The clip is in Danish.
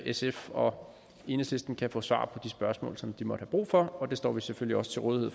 sf og enhedslisten kan få svar på de spørgsmål som de måtte have brug for vi står selvfølgelig også til rådighed